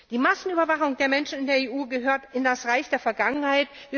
Die Massenüberwachung der Menschen in der EU gehört ins Reich der Vergangenheit.